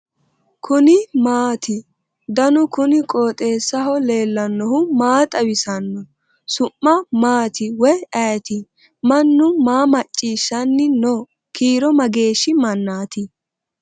kuni maati ? danu kuni qooxeessaho leellannohu maa xawisanno su'mu maati woy ayeti ? mannu maa macciishanni no kiiro maageeshshi mannati